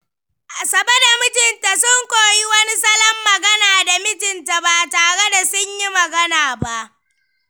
Asabe da mijinta sun koyi wani salon magana da mijinta ba tare da sunyi magana ba.